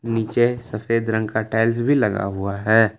नीचे सफेद रंग का टाइल्स भी लगा हुआ है।